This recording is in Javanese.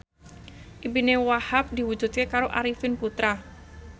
impine Wahhab diwujudke karo Arifin Putra